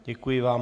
Děkuji vám.